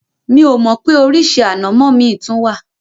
Mi ò mọ̀ pé oríṣi ànàmọ́ mi tún wà.